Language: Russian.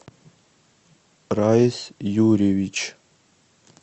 раис юрьевич